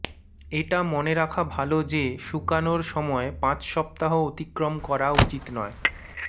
এটা মনে রাখা ভাল যে শুকানোর সময় পাঁচ সপ্তাহ অতিক্রম করা উচিত নয়